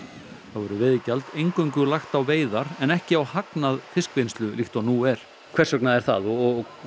þá verður veiðigjald eingöngu lagt á veiðar en ekki á hagnað fiskvinnslu líkt og nú er hvers vegna er það og